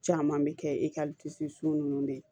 Caman bɛ kɛ ninnu de ye